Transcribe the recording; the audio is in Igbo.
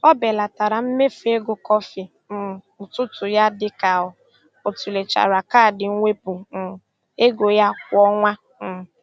O belatara mmefu ego kọfị um ụtụtụ ya dị ka ọ tụlechara kaadị mwepụ um ego ya kwa ọnwa. um